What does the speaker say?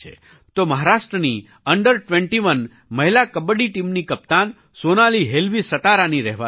તો મહારાષ્ટ્રની અંડર 21 મહિલા કબડ્ડી ટીમની કપ્તાન સોનાલી હેલવી સતારાની રહેવાસી છે